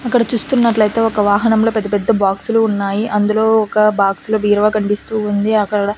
అక్కడ చూస్తున్నట్లయితే ఒక వాహనంలో పెద్ద పెద్ద బాక్సులు ఉన్నాయి అందులో ఒక బాక్స్ లో బీరువా కనిపిస్తూ ఉంది అక్కడ--